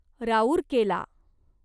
Rourkela